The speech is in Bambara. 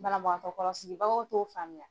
banabagatɔkɔrɔsibagaw t'o faamuya.